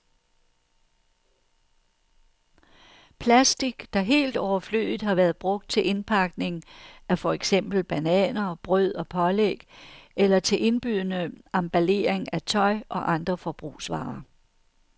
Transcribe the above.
Plastic, der helt overflødigt har været brugt til indpakning af for eksempel bananer, brød og pålæg eller til indbydende emballering af tøj og andre forbrugsvarer.